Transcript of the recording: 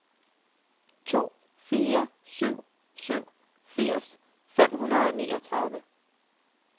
to fire syv syv firs fem hundrede og niogtredive